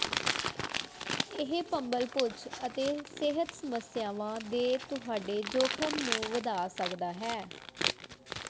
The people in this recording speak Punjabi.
ਇਹ ਭੰਬਲਭੁਜ ਅਤੇ ਸਿਹਤ ਸਮੱਸਿਆਵਾਂ ਦੇ ਤੁਹਾਡੇ ਜੋਖਮ ਨੂੰ ਵਧਾ ਸਕਦਾ ਹੈ